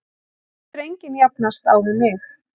Það getur enginn jafnast á við mig.